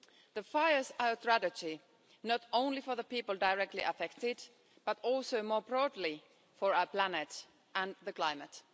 The fires are a tragedy, not only for the people directly affected but also, more broadly, for our planet and the climate.